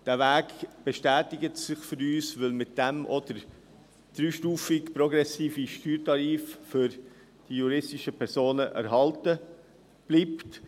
Dieser Weg bestätigt sich für uns, weil mit diesem auch der dreistufige progressive Steuertarif für die juristischen Personen erhalten bleibt.